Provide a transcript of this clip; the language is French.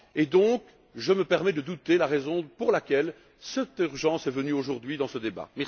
Donc, je me permets de douter de la raison pour laquelle cette urgence est venue aujourd'hui dans ce débat.